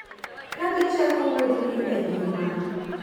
Ka gichako wuodhgi e ngima